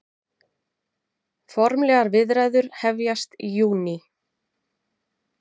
Formlegar viðræður hefjast í júní